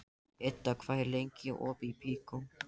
Idda, hvað er lengi opið í Byko?